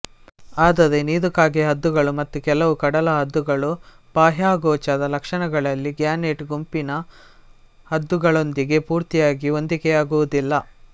ಆದರೆ ನೀರುಕಾಗೆ ಹದ್ದುಗಳು ಮತ್ತು ಕೆಲವು ಕಡಲು ಹದ್ದುಗಳು ಬಾಹ್ಯಗೋಚರ ಲಕ್ಷಣಗಳಲ್ಲಿ ಗ್ಯಾನೆಟ್ ಗುಂಪಿನ ಹದ್ದುಗಳೊಂದಿಗೆ ಪೂರ್ತಿಯಾಗಿ ಹೊಂದಿಕೆಯಾಗುವದಿಲ್ಲ